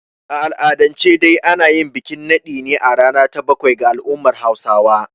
A al'adance dai ana yin bikin naɗin ne a rana ta bakwai ga al'ummar Hausawa.